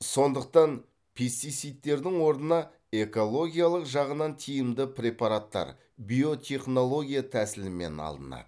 сондықтан пестицидтердің орнына экологиялық жағынан тиімді препараттар биотехнология тәсілімен алынады